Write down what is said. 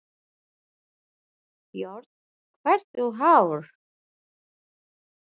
Björn: Hversu háar?